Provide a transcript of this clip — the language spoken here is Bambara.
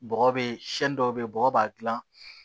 Bɔgɔ be siɲɛ dɔw be yen bɔgɔ b'a gilan